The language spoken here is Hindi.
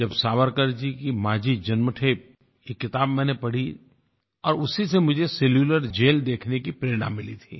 जब सावरकर जी की माज़ी जन्मठे एक किताब मैंने पढ़ी और उसी से मुझे सेलुलर जेल देखने की प्रेरणा मिली थी